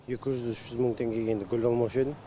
екі жүз үш жүз мың теңгеге енді гүл алмаушы едім